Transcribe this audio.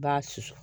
I b'a susu